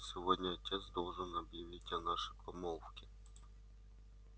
сегодня отец должен объявить о нашей помолвке